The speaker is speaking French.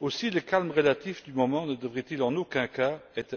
Aussi le calme relatif du moment ne devrait il en aucun cas être